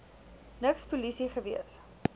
niks polisie gewees